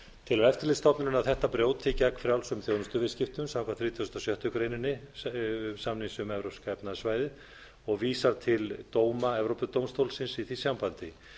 eftirlitsstofnunin að þetta brjóti gegn frjálsum þjónustuviðskiptum samkvæmt þrítugustu og sjöttu grein samnings um evrópska efnahagssvæðið og vísar til dóma evrópudómstólsins í því sambandi